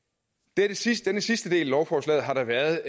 denne sidste sidste del af lovforslaget har der været